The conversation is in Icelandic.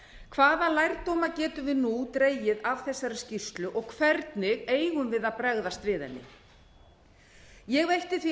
hvaða lærdóma getum við nú dregið af þessari skýrslu og hvernig eigum við að bregðast við henni ég veitti því